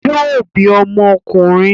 Yóò bí ọmọ ọkùnrin